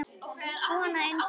Svona eins og þetta!